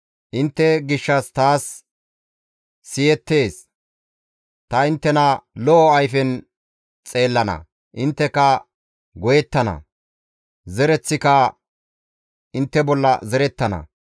Intte gishshas taas siyettees; ta inttena lo7o ayfen xeellana; intteka goyettana; zereththika intte bolla zerettana.